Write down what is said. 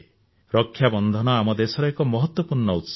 ରକ୍ଷାବନ୍ଧନ ଆମ ଦେଶର ଏକ ମହତ୍ୱପୂର୍ଣ୍ଣ ଉତ୍ସବ